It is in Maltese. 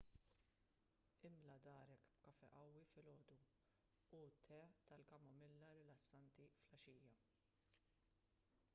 imla darek b'kafè qawwi filgħodu u te tal-kamomilla rilassanti filgħaxija